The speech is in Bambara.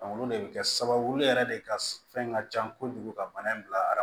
olu de bi kɛ sababu yɛrɛ de ka fɛn ka can kojugu ka bana in bila